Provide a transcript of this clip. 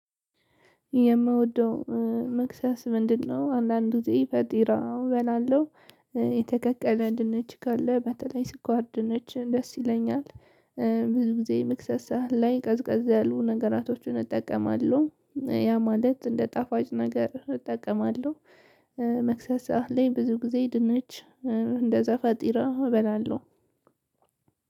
የምወደው መክሰስ ምንድነው? አንዳንድ ጊዜ ፈጢራ እበላለሁ የተከቀለ ድንች ካለ በተለይ ስኳር ድንች ደስ ይለኛል። ብዙ ጊዜ መክሰሳ ላይ ቀዝቀዝ ያሉ ነገራቶችን እጠቀማለሁ። ያ ማለት እንደ ጣፋጭ ነገር እጠቀማለሁ። መክሰስ ሰዓት ላይ ብዙ ጊዜ ድንች እንደዛ ፋጢራ እበላለሁ።